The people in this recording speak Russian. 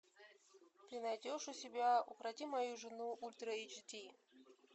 ты найдешь у себя укроти мою жену ультра эйч ди